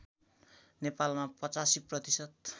नेपालमा ८५ प्रतिशत